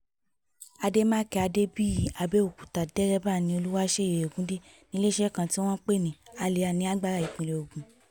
ademakin adebiyi abẹokuta dẹrẹba ni oluwaṣeyi ogunde ile-iṣẹ ti wọn n pe ni Alia ni angba ipinlẹ ogun